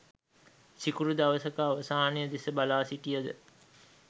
සිකුරු දවසක අවසානය දෙස බලා සිටියද